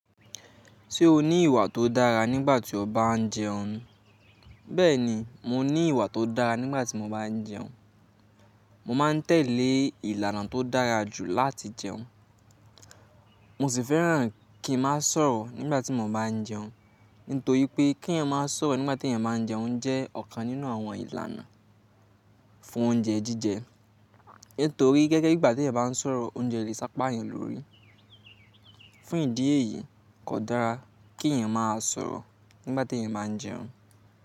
Ṣé o ní ìwà tó dára nígbà tí o bá ń jẹun? Bẹ́ẹ̀ni, mo ní ìwà tó dára nígbà tí mo bá ń jẹun. Mo máa ń tẹ̀lé ìlànà tó dára jù láti jẹun. Mo sì fẹ́ràn kí n má sọ̀rọ̀ nígbà tí mo bá ń jẹun, nítorí pé kí èèyàn má sọ̀rọ̀ nígbà tí èèyàn má ń jẹun jẹ́ ọ̀kan nínú àwọn ìlànà fún oúnjẹ jíjẹ. Nítorí gẹ́gẹ́ bí ìgbà tí ẹyan bá ń sọ̀rọ̀ oúnjẹ lè sápa èèyàn lórí. Fún ìdí èyí kò dára kí èyàn má a sọ̀rọ̀ nígbà tí èyàn má ń jẹun.